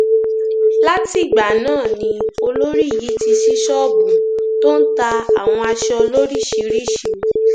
látìgbà náà ni olórí yìí ti ṣí ṣọọbù tó ń ta àwọn aṣọ lóríṣìíríṣìí